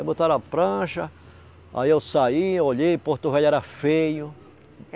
Aí botaram a prancha, aí eu saí, eu olhei, Porto Velho era feio.